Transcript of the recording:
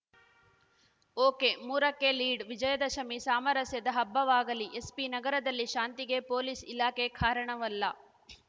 ಒಕೆಮೂರಕ್ಕೆ lead Vijayadashami ಸಾಮರಸ್ಯದ ಹಬ್ಬವಾಗಲಿ SP ನಗರದಲ್ಲಿ ಶಾಂತಿಗೆ ಪೊಲೀಸ್‌ ಇಲಾಖೆ ಕಾರಣವಲ್ಲ